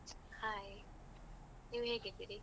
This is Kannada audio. Hai, ನೀವ್ ಹೇಗಿದ್ದೀರಿ?